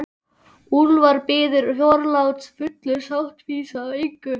Úlfar biður forláts, fullur sáttfýsi út af engu.